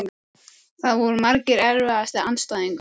Það voru margir Erfiðasti andstæðingur?